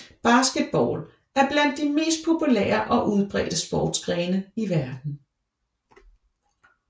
Basketball er blandt de mest populære og udbredte sportsgrene i verden